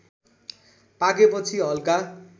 पाकेपछि हल्का